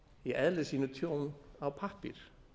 í eðli sínu tjón á pappír